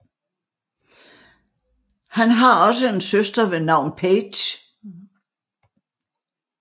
Han har også en søster ved navn Paige